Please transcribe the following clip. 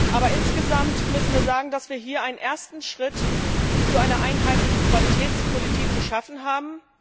Aber insgesamt müssen wir sagen, dass wir hier einen ersten Schritt zu einer einheitlichen Qualitätspolitik gemacht haben.